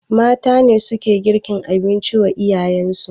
Mata suke girkin abinci wa iyalen su